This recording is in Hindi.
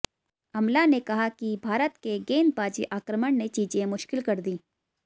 अमला ने कहा कि भारत के गेंदबाजी आक्रमण ने चीजें मुश्किल कर दीं